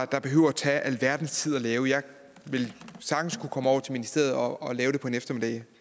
der behøver at tage alverdens tid at lave jeg ville sagtens kunne komme over til ministeriet og lave det på en eftermiddag